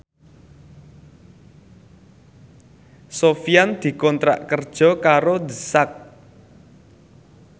Sofyan dikontrak kerja karo The Sak